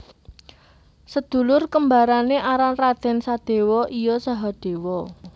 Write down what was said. Sedulur kembare aran Raden Sadewa iya Sahadewa